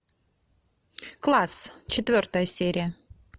класс четвертая серия